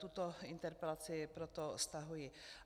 Tuto interpelaci proto stahuji.